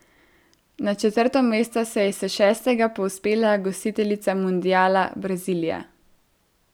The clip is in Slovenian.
Na četrto mesto se je s šestega povzpela gostiteljica mundiala, Brazilija.